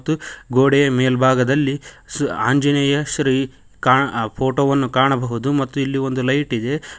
ಮತ್ತು ಗೋಡೆಯ ಮೇಲ್ಭಾಗದಲ್ಲಿ ಆಂಜನೇಯ ಶ್ರೀ ಫೋಟೋ ವನ್ನು ಕಾಣಬಹುದು ಮತ್ತು ಇಲ್ಲಿ ಒಂದು ಲೈಟ್ ಇದೆ.